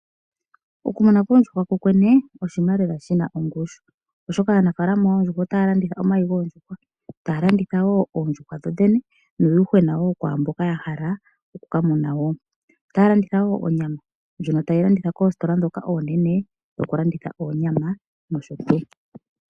Okumuna koondjuhwa kokwene oshinima lela shina ongushu ,oshoka aanafaalama yoondjuhwa otaya landitha omayi goondjuhwa ,taya landitha woo oondjuhwa dho dhene nuuyuhwena woo kwaamboka yahala oku kamuna . Otaya landitha woo onyama ndjono taya landitha koositola oonene dhoku landitha oonyama nosho tuu.